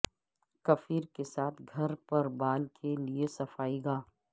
کفیر کے ساتھ گھر پر بال کے لئے صفائی گاہ